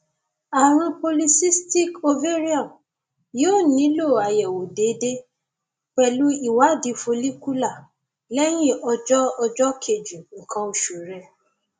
ààrùn polycystic ovarian yóò nílò àyẹwò déédéé pẹlú ìwádìí follicular lẹyìn ọjọ ọjọ kejì nǹkan oṣù rẹ